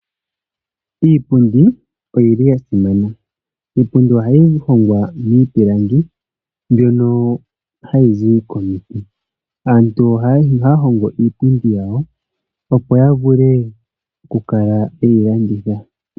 Iipundi oyili ya simana. Iipundi ohayi vulu oku hongwa miipilangi mbyoka hayi zi komiti. Aantu ohaya hongo iipundi yawo, opo ya vule oku kala yeyi landitha.